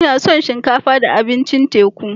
Ina son shinkafa da abincin teku.